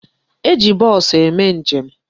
E ji bọọsụ eme njem.